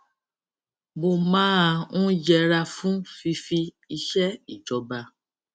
mo máa ń yẹra fún fífi iṣé ìjọba